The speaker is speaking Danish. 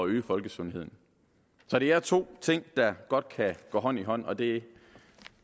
øge folkesundheden så det er to ting der godt kan gå hånd i hånd og det